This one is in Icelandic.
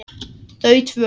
Þau tvö.